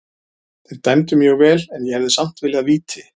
Þeir dæmdu mjög vel en ég hefði samt viljað víti.